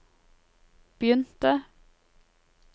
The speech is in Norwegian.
begynte